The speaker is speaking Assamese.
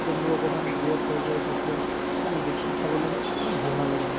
যেতিয়া মোৰ অকমান gas হৈ যায় তেতিয়া medicine খাবলৈ ভাল নালাগে মোক